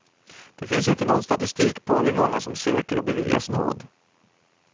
Det finns inte någon statistik på hur många som söker och beviljas nåd.